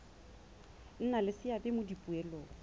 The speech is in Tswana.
nna le seabe mo dipoelong